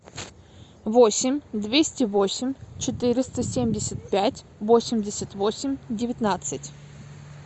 восемь двести восемь четыреста семьдесят пять восемьдесят восемь девятнадцать